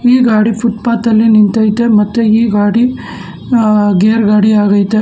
ಈ ಗಾಡಿ ಫುಟ್ಪಾತ್ ಅಲ್ಲಿ ನಿಂತೈತೆ ಮತ್ತೆ ಈ ಗಾಡಿ ಗೇರ್ ಗಾಡಿ ಆಗೈತೆ.